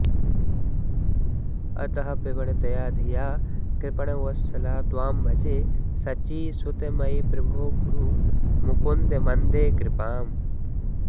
अतः प्रवणया धिया कृपणवत्सल त्वां भजे शचीसुत मयि प्रभो कुरु मुकुन्द मन्दे कृपाम्